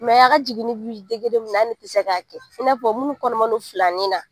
a ka jiginini bi min na an tɛ se k'a kɛ i n'a fɔ minnu kɔnɔma don filanin na